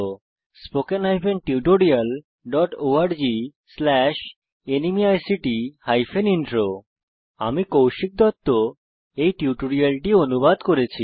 spoken hyphen tutorial dot org slash ন্মেইক্ট hyphen intro আমি কৌশিক দত্ত টিউটোরিয়ালটি অনুবাদ করেছি